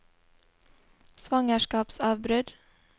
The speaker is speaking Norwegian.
svangerskapsavbrudd